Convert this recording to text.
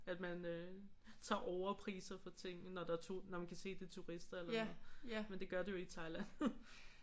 At man øh tager overpriser for tingene når det når man kan se at det er turister. Men det gør du jo i Thailand